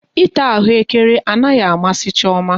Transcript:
Ịta ahụekere anaghị amasị Chioma